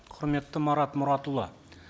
құрметті марат мұратұлы